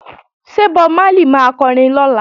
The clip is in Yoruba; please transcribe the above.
Ṣé Bob Marley máa kọrin lọ́la?